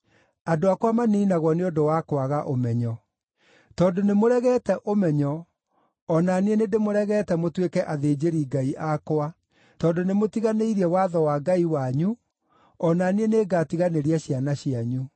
Andũ akwa maniinagwo nĩ ũndũ wa kwaga ũmenyo. “Tondũ nĩmũregete ũmenyo, o na niĩ nĩndĩmũregete mũtuĩke athĩnjĩri-Ngai akwa; tondũ nĩmũtiganĩirie watho wa Ngai wanyu, o na niĩ nĩngatiganĩria ciana cianyu.